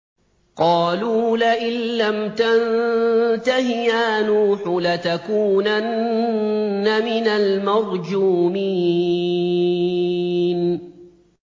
قَالُوا لَئِن لَّمْ تَنتَهِ يَا نُوحُ لَتَكُونَنَّ مِنَ الْمَرْجُومِينَ